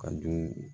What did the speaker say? Ka du